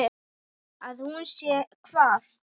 Að hún sé ekki hvað?